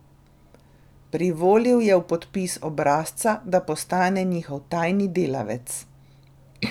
Privolil je v podpis obrazca, da postane njihov tajni delavec.